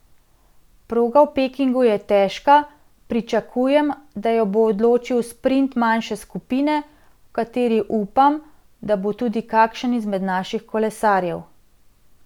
Proga v Pekingu je težka, pričakujem, da jo bo odločil sprint manjše skupine, v kateri upam, da bo tudi kakšen izmed naših kolesarjev.